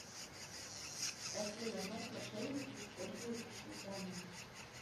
афина как мошенники используют личные данные